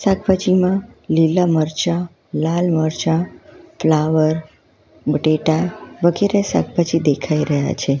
શાકભાજીમાં લીલા મરચા લાલ મરચા ફ્લાવર બટેટા વગેરે શાકભાજી દેખાય રહ્યા છે.